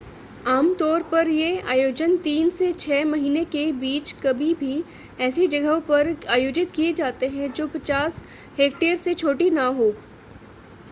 आम तौर पर ये आयोजन तीन से छह महीने के बीच कभी भी ऐसी जगहों पर आयोजित किए जाते हैं जो 50 हेक्टेयर से छोटी न हों